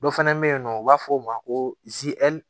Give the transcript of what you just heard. Dɔ fana bɛ yen nɔ u b'a fɔ o ma ko